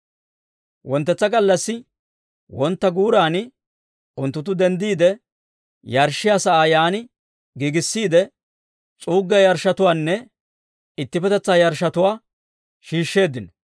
Wonttetsa gallassi wontta guuraanna unttunttu denddiide, yarshshiyaa sa'aa yaan giigissiide s'uuggiyaa yarshshotuwaanne ittippetetsaa yarshshotuwaa shiishsheeddino.